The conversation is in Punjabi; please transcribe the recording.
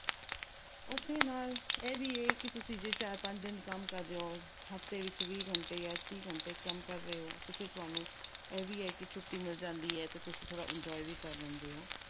ਉੱਥੇ ਨਾਲ ਇਹ ਵੀ ਹੈ ਜੇ ਤੁਸੀਂ ਚਾਰ-ਪੰਜ ਦਿਨ ਕੰਮ ਕਰਦੇ ਓ, ਹਫਤੇ ਵਿੱਚ ਵੀਹ ਘੰਟੇ ਜਾਂ ਤੀਹ ਘੰਟੇ ਕੰਮ ਕਰ ਰਹੇ ਓ ਤੇ ਫਿਰ ਤੁਹਾਨੂੰ ਇਹ ਵੀ ਹੈ ਕਿ ਛੁੱਟੀ ਮਿਲ ਜਾਂਦੀ ਏ ਤੇ ਤੁਸੀਂ enjoy ਵੀ ਕਰ ਲੈਂਦੇ ਓ।